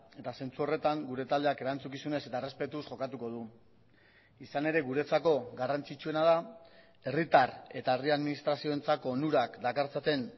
eta zentzu horretan gure taldeak erantzukizunez eta errespetuz jokatuko du izan ere guretzako garrantzitsuena da herritar eta herri administrazioentzako onurak dakartzaten